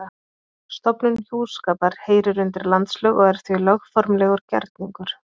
Stofnun hjúskapar heyrir undir landslög og er því lögformlegur gerningur.